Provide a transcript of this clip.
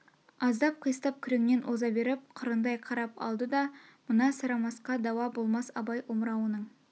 аздап қиыстап күреңнен оза беріп қырындай қарап алды да мына сарамасқа дауа болмас абай омырауының